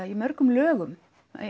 í mörgum lögum